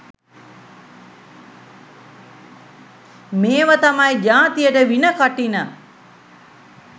මේවා තමයි ජාතියට වින කටින